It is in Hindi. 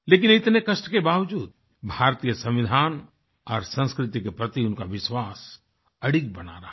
लेकिन इतने कष्ट के बावज़ूद भारतीय संविधान और संस्कृति के प्रति उनका विश्वास अडिग बना रहा